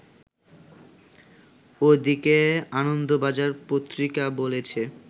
ওদিকে আনন্দবাজার পত্রিকা বলেছে